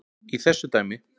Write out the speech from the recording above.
í þessu dæmi.